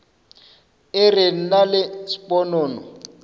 e re nna le sponono